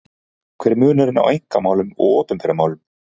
Hver er munurinn á einkamálum og opinberum málum?